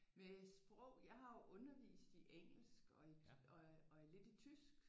Med sprog jeg har jo undervist i engelsk og i og i lidt i tysk